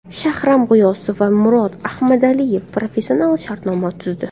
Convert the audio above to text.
Shahram G‘iyosov va Murod Ahmadaliyev professional shartnoma tuzdi.